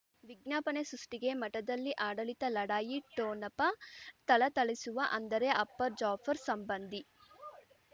ವಿಜ್ಞಾಪನೆ ಸೃಷ್ಟಿಗೆ ಮಠದಲ್ಲಿ ಆಡಳಿತ ಲಢಾಯಿ ಠೊಣಪ ಥಳಥಳಿಸುವ ಅಂದರೆ ಅಪ್ಪ ಜಾಫರ್ ಸಂಬಂಧಿ